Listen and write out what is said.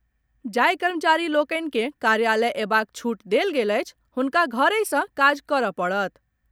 जाहि कर्मचारी लोकनि के कार्यालय अयबाक छूट देल गेल अछि हुनका घरहि सँ काज करऽ पड़त।